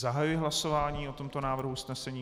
Zahajuji hlasování o tomto návrhu usnesení.